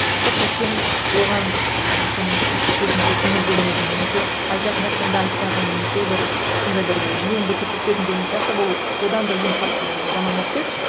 просто сен оған і мүмкін кезінде көңіл бөлмедің немесе айтатын нәрсеңді айтпадың немесе бір сондай бір жылуыңды көрсетпедің деген сияқты бұл одан да ең қатты жаман нәрсе